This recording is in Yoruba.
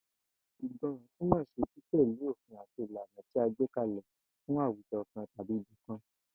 Ìgbó̩ran túmò̩ sí títè̩lé òfin àti ìlànà tí a gbé ka lè̩ fún àwujo̩ kan tàbí ibi kan